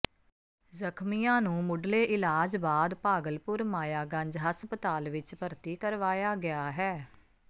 ਜ਼ਖਮੀਆਂ ਨੂੰ ਮੁਢਲੇ ਇਲਾਜ ਬਾਅਦ ਭਾਗਲਪੁਰ ਮਾਇਆਗੰਜ ਹਸਪਤਾਲ ਵਿਚ ਭਰਤੀ ਕਰਵਾਇਆ ਗਿਆ ਹੈ